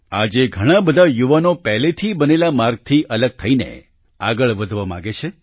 આજે ઘણાં બધાં યુવાનો પહેલેથી બનેલા માર્ગથી અલગ થઈને આગળ વધવા માંગે છે